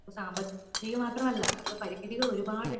സാമ്പത്തികം മാത്രമല്ല നമുക് പരിമിതികൾ ഒരുപാടിണ്ട്